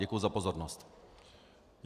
Děkuju za pozornost.